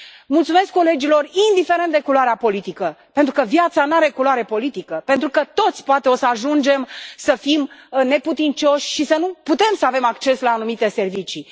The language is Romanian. Mulțumesc colegilor, indiferent de culoarea politică, pentru că viața n are culoare politică, pentru că toți, poate, o să ajungem să fim neputincioși și să nu putem să avem acces la anumite servicii.